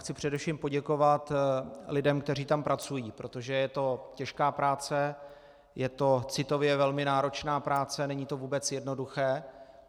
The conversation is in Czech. Chci především poděkovat lidem, kteří tam pracují, protože je to těžká práce, je to citově velmi náročná práce, není to vůbec jednoduché.